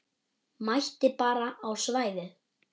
Mætti bara á svæðið.